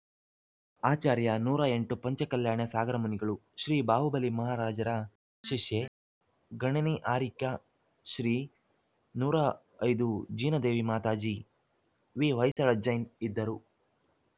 ಆಚಾರ್ಯ ನೂರ ಎಂಟು ಪಂಚಕಲ್ಯಾಣ ಸಾಗರ ಮುನಿಗಳು ಶ್ರೀ ಬಾಹುಬಲಿ ಮಹಾರಾಜರ ಶಿಷ್ಯೆ ಗಣನಿ ಆರ್ಯಿಕಾ ಶ್ರೀ ನೂರ ಐದು ಜಿನದೇವಿ ಮಾತಾಜಿ ವಿಹೊಯ್ಸಳ ಜೈನ್‌ ಇದ್ದರು